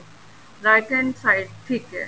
right hand side ਠੀਕ ਏ